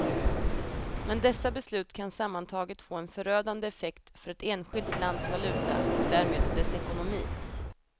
Men dessa beslut kan sammantaget få en förödande effekt för ett enskilt lands valuta och därmed dess ekonomi.